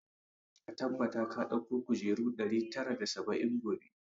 Ka tabbata ka dauko kujeru ɗari tara da saba'in gobe!